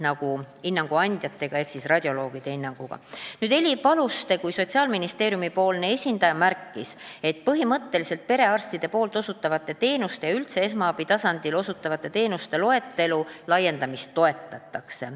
Heli Paluste kui Sotsiaalministeeriumi esindaja märkis, et põhimõtteliselt perearstide osutatavate teenuste ja üldse esmaabitasandil osutatavate teenuste loetelu laiendamist toetatakse.